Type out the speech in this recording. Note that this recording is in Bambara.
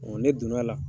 ne donn'a la